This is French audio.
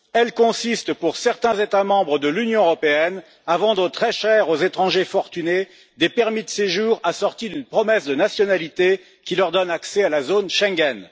Elle consiste, pour certains États membres de l'Union européenne, à vendre très cher à des étrangers fortunés des permis de séjour assortis d'une promesse de nationalité qui leur donne accès à la zone Schengen.